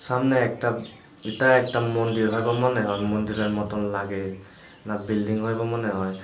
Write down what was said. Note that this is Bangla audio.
সামনে একটা এটা একটা মন্দির হইব মনে হয় মন্দিরের মতন লাগে না বিল্ডিং হইব মনে হয়।